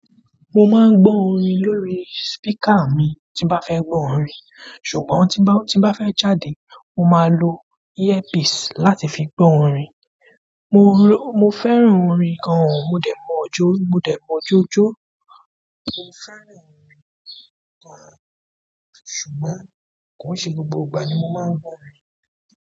Mo máa ń gbọ́ orin lórí speaker mi tí bá fẹ́ gbọ́ orin, ṣùgbọ́n tí bá fẹ́ jáde, mo máa ń lo earpiece láti fi gbọ́ orin. Mo fẹ́ràn orin gan modẹ mọ jo, modẹ mọ ijo jo. Mo fẹ́ràn orin kan, ṣùgbọ́n kò ṣe gbogbo ìgbà ni mo máa ń gbọ́ orin.